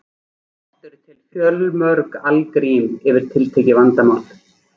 Oft eru til fjölmörg algrím fyrir tiltekið vandamál.